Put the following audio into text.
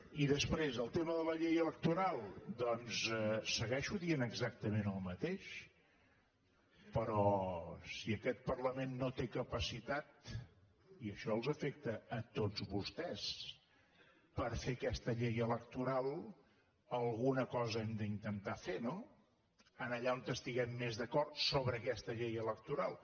i després el tema de la llei electoral doncs segueixo dient exactament el mateix però si aquest parlament no té capacitat i això els afecta a tots vostès per fer aquesta llei electoral alguna cosa hem d’intentar fer no allà on estiguem més d’acord sobre aquesta llei electoral